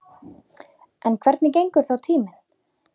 En hvernig gengur þá tíminn?